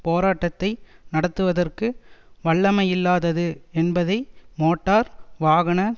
போராட்டத்தை நடத்துவதற்கு வல்லமையில்லாதது என்பதை மோட்டார் வாகன